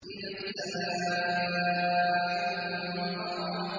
إِذَا السَّمَاءُ انفَطَرَتْ